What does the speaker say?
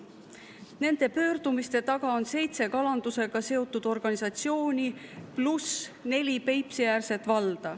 Nende pöördumiste taga on seitse kalandusega seotud organisatsiooni pluss neli Peipsi-äärset valda.